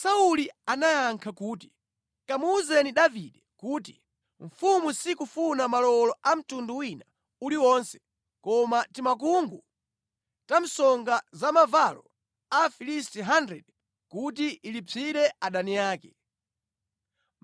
Sauli anayankha kuti, “Kamuwuzeni Davide kuti, ‘Mfumu sikufuna malowolo a mtundu wina uliwonse koma timakungu ta msonga za mavalo a Afilisti 100 kuti ilipsire adani ake.’ ”